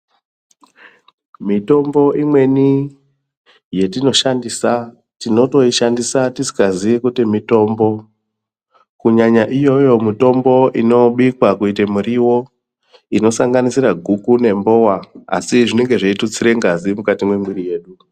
Mitombo imweni yetinoshandisa tinotoishandisa tisingazii kuti mitombo. Kunyanya iyoyoyo mitombo inobikwa kuita murivo inosanganisira guku nembova. Asi zvinenge zveitutsire ngazi mukati mwemwiri yedu.